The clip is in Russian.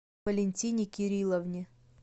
валентине кирилловне